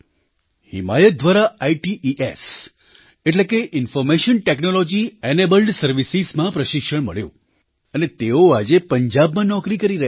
હિમાયત દ્વારા ઇટ્સ એટલે કે ઇન્ફૉર્મેશન ટૅક્નૉલૉજી એનેબલ્ડ સર્વિસીસમાં પ્રશિક્ષણ મળ્યું અને તેઓ આજે પંજાબમાં નોકરી કરી રહ્યા છે